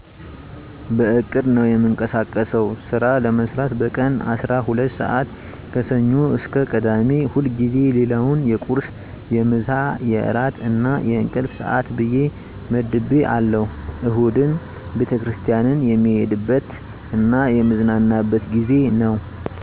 በዕቅድ ነው እምቀሳቀሰው ስራ ለመስራት በቀን አስራ ሁለት ስዓት ከሰኞ እስከ ቅዳሜ ሁልጊዜ ሌላውን የቁርስ፣ የምሳ፣ የእራት እና የንቅልፍ ሰዓት ብየ መድቤ አለሁ እሁድን ቤተክርስቲያንን የምሄድበ ት እና የምዝናናበት ጊዜ ነዉ።